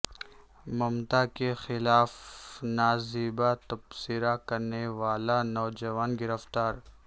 ممتا کے خلا ف نا زیبا تبصرہ کرنے والا نوجوان گرفتار